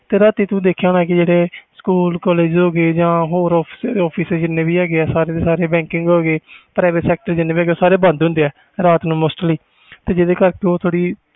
ਰਾਤੀ ਤੂੰ ਦੇਖਿਆ ਹੋਣਾ ਜਿਹੜੇ ਸਕੂਲ collage ਆ ਜਾ ਹੋਰ office ਜਿੰਨੇ ਵੀ bank private sector ਹੈ ਗਏ ਸਾਰੇ ਬੰਦ ਹੁੰਦੇ ਰਾਤ ਨੂੰ mostly ਇਹਦੇ ਕਰਕੇ